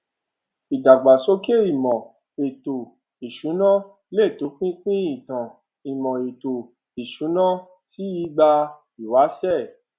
ìdàgbàsókè ìmò ètò ìsúnaa lè tó pínpín ìtàn imo ètò ìsúná sì ìgbà ìwáṣẹ